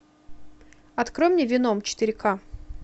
открой мне веном четыре к